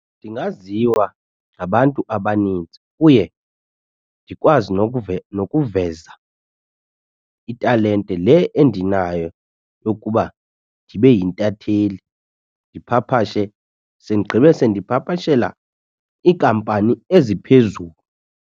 Ndingaziwa ngabantu abanintsi kuye ndikwazi nokuveza italente le endinayo yokuba ndibe yintatheli ndiphaphashe sendigqibe sendiphapashela iinkampani eziphezulu.